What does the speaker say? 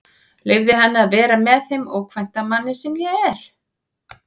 Leyfði henni að vera með þeim ókvænta manni sem ég er.